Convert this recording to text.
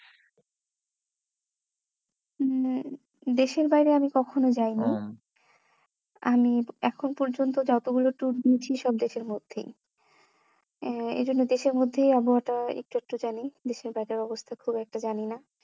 উম আহ দেশের বাইরে আমি কখনো যায়নি ও আমি এখন পর্যন্ত যতগুলো tour দিয়েছি সব দেশের মধ্যেই আহ এই জন্য দেশের মধ্যেই আবহাওয়াটা একটু আধটু জানি দেশের বাইরের অবস্থা খুব একটা জানি না